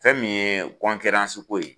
Fɛn min ye ko ye